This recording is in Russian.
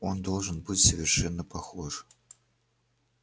он должен быть совершенно похож